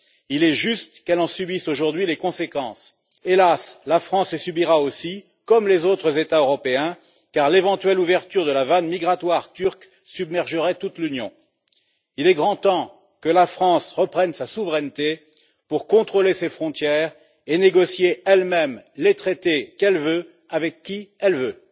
Il est juste qu'elle en subisse, aujourd'hui, les conséquences. Hélas, la France les subira aussi, comme les autres États européens, car l'éventuelle ouverture de la vanne migratoire turque submergerait toute l'Union. Il est grand temps que la France reprenne sa souveraineté pour contrôler ses frontières et négocier elle même les traités qu'elle veut, avec qui elle veut.